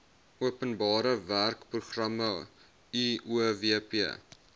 openbare werkeprogramme uowp